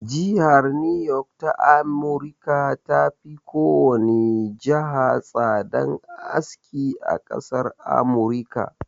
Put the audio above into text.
Jihar niyok ta amurika ta fi kowane jiha tsadan aski a ƙasar amurika